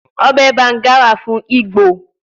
Obe Banga wa fun Igbo